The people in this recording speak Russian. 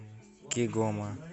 кигома